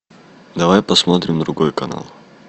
давай посмотрим другой канал